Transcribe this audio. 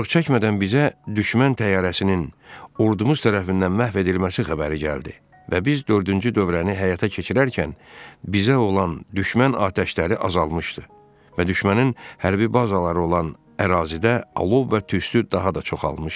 Çox çəkmədən bizə düşmən təyyarəsinin ordumuz tərəfindən məhv edilməsi xəbəri gəldi və biz dördüncü dövrəni həyata keçirərkən bizə olan düşmən atəşləri azalmışdı və düşmənin hərbi bazaları olan ərazidə alov və tüstü daha da çoxalmışdı.